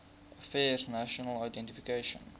affairs national identification